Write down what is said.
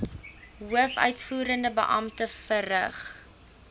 hoofuitvoerende beampte verrig